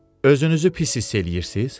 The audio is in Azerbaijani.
Özünüzü pis hiss eləyirsiz?